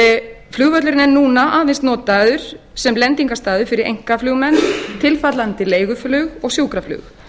breiðan flugvöllurinn er núna aðeins notaður sem lendingarstaður fyrir einkaflugmenn tilfallandi leiguflug og sjúkraflug